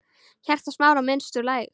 Hjarta Smára missti úr slag.